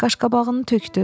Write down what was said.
Qaşqabağını tökdü.